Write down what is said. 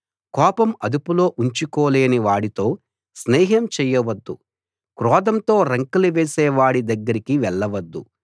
కోపం అదుపులో ఉంచుకోలేని వాడితో స్నేహం చెయ్య వద్దు క్రోధంతో రంకెలు వేసే వాడి దగ్గరికి వెళ్ల వద్దు